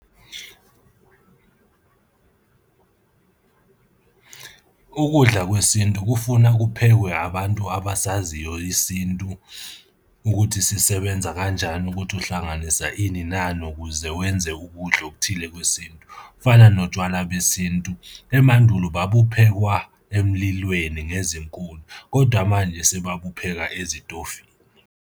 Ukudla kwesintu kufuna kuphekwe abantu abasaziyo isintu ukuthi sisebenza kanjani, ukuthi uhlanganisa ini nani, ukuze wenze ukudla okuthile kwesintu. Kufana notshwala besintu, emandulo babaphekwa emlilweni ngezinkuni, kodwa manje sebabupheka ezitofini.